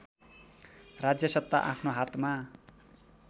राज्यसत्ता आफ्नो हातमा